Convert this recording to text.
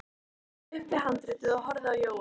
Ég stóð upp við handriðið og horfði á Jóa.